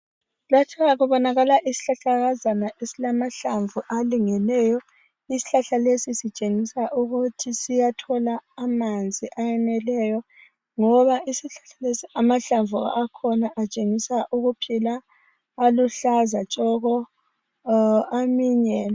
Kubonakala isihlahlakazana esilamahlamvu alengileyo. Isihlahla lesi sitshengisa ukuthi siyathola amanzi eyeneleyo, ngoba isihlahla lesi amahlamvu akhona atshengisa ukuphila. Aluhlaza tshoko